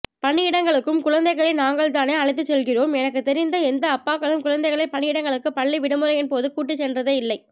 பணியிடங்களுக்கும் குழந்தைகளை நாங்களேதான் அழைத்துச்செல்கிறோம் எனக்குதெரிந்து எந்த அப்பாக்களும் குழந்தைகளை பணியிடங்களுக்கு பள்ளி விடுமுறையின் போது கூட்டிசென்றதே இல்லை